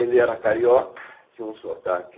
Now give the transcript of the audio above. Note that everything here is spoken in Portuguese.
Ele era carioca, tinha um sotaque